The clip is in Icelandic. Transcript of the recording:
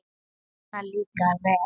Svona líka vel!